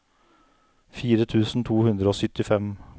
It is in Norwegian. fire tusen to hundre og syttifem